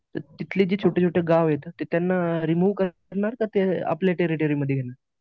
तर तिथले जे छोटे छोटे जे गाव आहेत ते त्यांना रिमूव्ह करणार का ते आपल्या टेरोटेरीमध्ये घेणार?